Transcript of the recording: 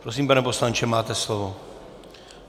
Prosím, pane poslanče, máte slovo.